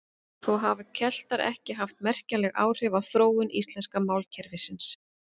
Þó hafa Keltar ekki haft merkjanleg áhrif á þróun íslenska málkerfisins.